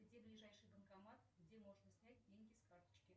где ближайший банкомат где можно снять деньги с карточки